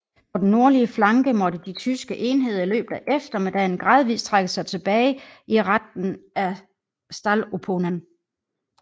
På den nordlige flanke måtte de tyske enheder i løbet af eftermiddagen gradvis trække sig tilbage i retning af Stallupönen